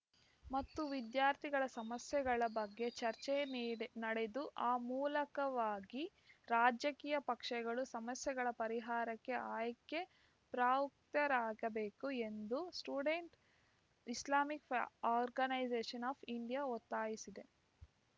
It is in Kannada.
ಮತ್ತು ವಿದ್ಯಾರ್ಥಿಗಳ ಸಮಸ್ಯೆಗಳ ಬಗ್ಗೆ ಚರ್ಚೆ ನೀಡೆ ನಡೆದು ಆ ಮೂಲಕವಾಗಿ ರಾಜಕೀಯ ಪಕ್ಷೆಗಳು ಸಮಸ್ಯೆಗಳ ಪರಿಹಾರಕ್ಕೆ ಆಯ್ಕೆ ಪ್ರವೃತ್ತರಾಗಬೇಕು ಎಂದು student islamic organisation of India ಒತ್ತಾಯಿಸಿದೆ